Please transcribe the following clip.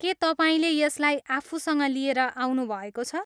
के तपाईँले यसलाई आफूसँग लिएर आउनुभएको छ?